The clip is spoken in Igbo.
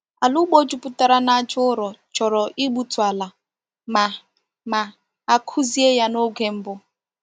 Ala ugbo juputara na aja ụrọ chọrọ igbutu ala ma ma a kụzie ya n’oge mbụ.